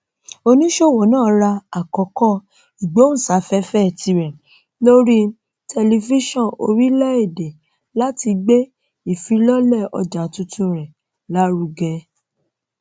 oníṣòwò náà ra àkókò ìgbóhùnsáfẹfẹ tirẹ lórí tẹlifíṣọn orílẹèdè láti gbé ìfilọlẹ ọjà tuntun rẹ lárugẹ